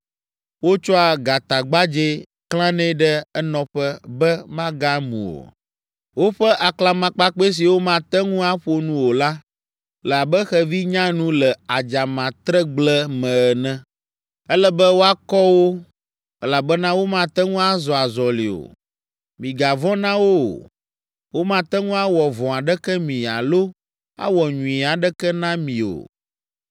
Wotsɔa gatagbadzɛ klãnɛ ɖe enɔƒe be magamu o. Woƒe aklamakpakpɛ siwo mate ŋu aƒo nu o la le abe xevi nyanu le adzamatregble me ene. Ele be woakɔ wo, elabena womate ŋu azɔ azɔli o. Migavɔ̃ na wo o; womate ŋu awɔ vɔ̃ aɖeke mi alo awɔ nyui aɖeke na mi o.”